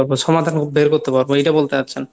সমাধান বের করতে পারবো এটা বলতে চাচ্ছেন ?